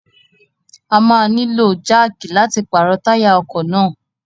A máa nílò jáàkì láti pàrọ̀ táyà ọkọ̀ náà.